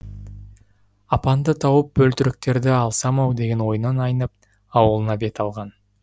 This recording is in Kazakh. апанды тауып бөлтіріктерді алсам ау деген ойынан айнып ауылына бет алған